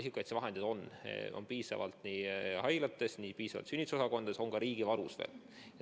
Isikukaitsevahendeid on piisavalt haiglates, on piisavalt sünnitusosakondades ja neid veel ka riigivarus.